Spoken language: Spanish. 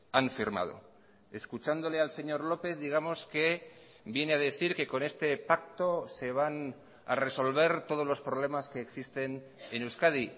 han firmado escuchándole al señor lópez digamos que viene a decir que con este pacto se van a resolver todos los problemas que existen en euskadi